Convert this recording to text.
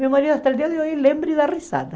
Meu marido, até o dia de hoje, lembra e dá risada.